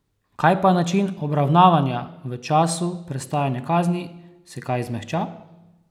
Kaj pa način obravnavanja v času prestajanja kazni, se kaj zmehča?